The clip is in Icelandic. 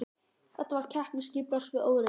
Þetta var keppni skipulags við óreiðu.